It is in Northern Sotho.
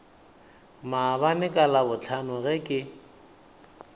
maabane ka labohlano ge ke